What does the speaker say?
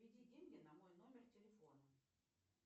переведи деньги на мой номер телефона